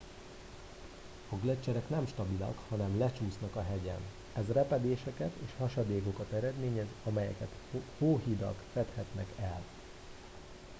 a gleccserek nem stabilak hanem lecsúsznak a hegyen ez repedéseket és hasadékokat eredményez amelyeket hóhidak fedhetnek el